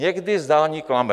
Někdy zdání klame.